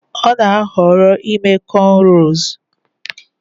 Ọ na-ahọrọ ime cornrows